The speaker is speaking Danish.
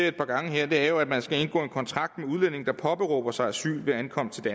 et par gange her er jo at man skal indgå en kontrakt med udlændinge der påberåber sig asyl ved ankomsten